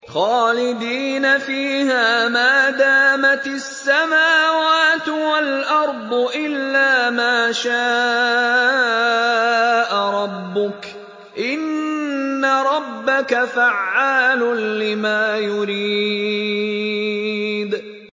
خَالِدِينَ فِيهَا مَا دَامَتِ السَّمَاوَاتُ وَالْأَرْضُ إِلَّا مَا شَاءَ رَبُّكَ ۚ إِنَّ رَبَّكَ فَعَّالٌ لِّمَا يُرِيدُ